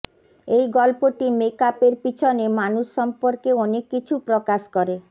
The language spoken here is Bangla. এই গল্পটি মেকআপের পিছনে মানুষ সম্পর্কে অনেক কিছু প্রকাশ করে